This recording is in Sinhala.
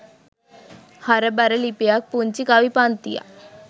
හරබර ලිපියක් පුංචි කවි පන්තියක්